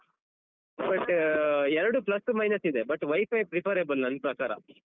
But ಎರಡೂ plus minus ಇದೆ but WiFi preferable ನನ್ ಪ್ರಕಾರ.